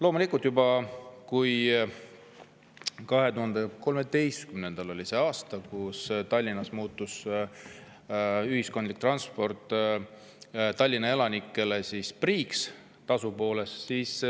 2013 oli see aasta, kui Tallinnas muutus ühistransport Tallinna elanikele tasu poolest priiks.